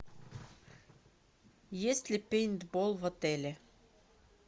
есть ли пейнтбол в отеле